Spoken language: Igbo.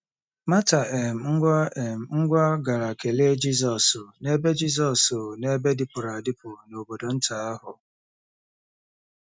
Mata um ngwa um ngwa gara kelee Jizọs n’ebe Jizọs n’ebe dịpụrụ adịpụ n’obodo nta ahụ.